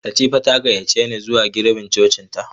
Latifa ta gayyace ni zuwa girbin cocinta.